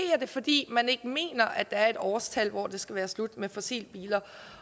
det fordi man ikke mener at der er et årstal hvor det skal være slut med fossilbiler